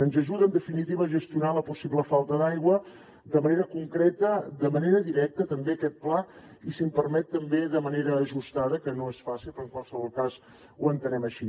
ens ajuda en definitiva a gestionar la possible falta d’aigua de manera concreta de manera directa també aquest pla i si em permet també de manera ajustada que no és fàcil però en qualsevol cas ho entenem així